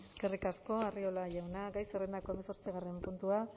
eskerrik asko arriola jauna gai zerrendako hamazortzigarren puntua